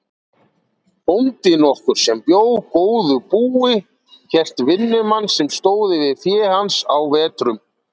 Bóndi nokkur sem bjó góðu búi hélt vinnumann sem stóð yfir fé hans á vetrum.